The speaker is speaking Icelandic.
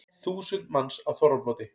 Þúsund manns á þorrablóti